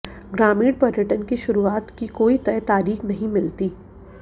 ग्रामीण पर्यटन की शुरुआत की कोई तय तारीख नहीं मिलती